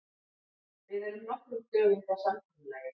Við erum nokkrum dögum frá samkomulagi.